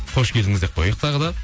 қош келдіңіз деп қояйық тағы да